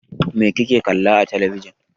Mai kuke kallo a telebijin?